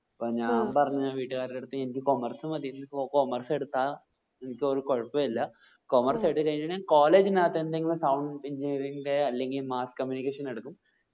അപ്പോ ഞാൻ പറഞ് വീട്ട്കാർടെ അടുത്ത്എനിക്ക് commerce മതിഎനിക്ക് commerce എടുത്ത എനിക്ക് ഒരു കൊഴപ്പുല്ലാ commerce എടുത്ത് കഴിഞ്ഞ ഞാൻ college നത് എന്തെകിലും sound engineering ന്റെ അല്ലെങ്കിൽ mass communication എടുക്കും